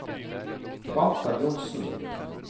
Walter Johnsen